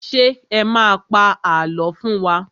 Ṣé ẹ má a pa àlọ́ fún wa?